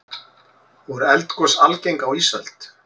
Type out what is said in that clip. voru eldgos algeng á ísöld